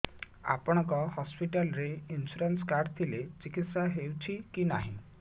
ଆପଣଙ୍କ ହସ୍ପିଟାଲ ରେ insurance card ଥିଲେ ଚିକିତ୍ସା ହେଉଛି କି ନାଇଁ